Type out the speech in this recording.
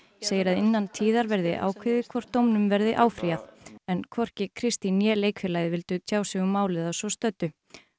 segir að innan tíðar verði ákveðið hvort dómnum verði áfrýjað en hvorki Kristín né leikfélagið vildu tjá sig um málið að svo stöddu